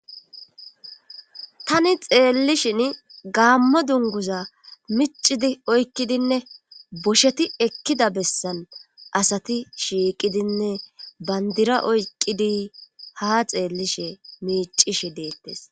tani xeellishin gaammo dunguza micidi oykkidinne bosheti ekkida bessan asati shiiqidinne bandira oyqidi ha xeellishe miicishe deettes